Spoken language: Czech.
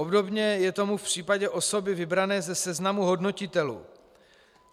Obdobně je tomu v případě osoby vybrané ze seznamu hodnotitelů.